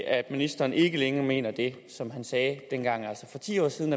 at ministeren ikke længere mener det som han sagde for ti år siden